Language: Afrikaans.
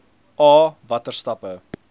a watter stappe